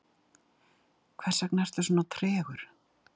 hversvegna ertu svona tregur